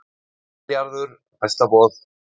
Milljarður hæsta boð